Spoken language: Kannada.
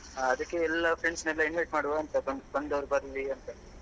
ಹಾ ಅದಕ್ಕೆ ಎಲ್ಲ friends ನೆಲ್ಲ invite ಮಾಡುವ ಅಂತ ಬಂದ್~ ಬಂದವರು ಬರ್ಲಿ ಅಂತ